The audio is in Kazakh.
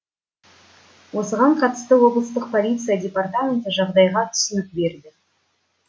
осыған қатысты облыстық полиция департаменті жағдайға түсінік берді